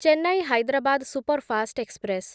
Chennai Hyderabad superfast express